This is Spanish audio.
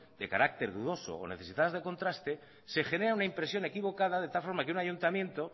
de carácter dudosos o necesitadas de contraste se genera una impresión equivocada de tal forma que un ayuntamiento